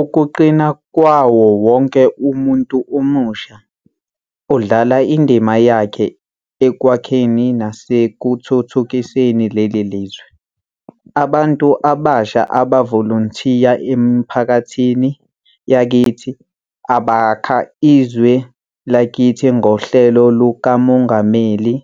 .ukuqina kwawo wonke umuntu omusha odlala indima yakhe ekwakheni nasekuthuthukiseni leli lizwe. Abantu abasha abavolontiya emiphakathini yakithi, abakha izwe lakithi ngoHlelo lukaMongameli